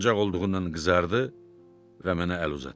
Utancaq olduğundan qızardı və mənə əl uzatdı.